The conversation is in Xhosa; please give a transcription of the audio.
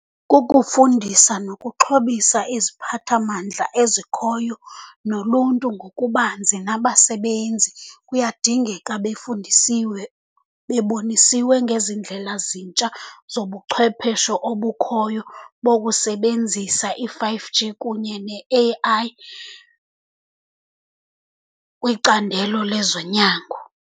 Kukufundisa nokuxhobisa iziphathamandla ezikhoyo nolunto ngokubanzi, nabasebenzi kuyadingeka befundisiwe, bebonisiwe ngezi ndlela zintsha zobuchwepheshe obukhoyo bokusebenzisa i-five G kunye ne-A_I kwicandelo lezonyango.